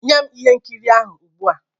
Nye m ihe nkiri ahụ ugbu a!